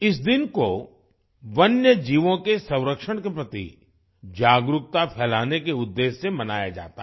इस दिन को वन्य जीवों के संरक्षण के प्रति जागरूकता फ़ैलाने के उद्देश्य से मनाया जाता है